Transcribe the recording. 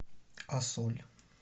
а соль